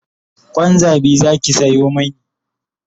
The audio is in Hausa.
Kwan zabi Zaki Sayo mani